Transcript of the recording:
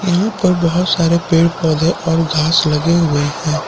यहां पर बहोत सारे पेड़ पौधे और घास लगे हुए हैं।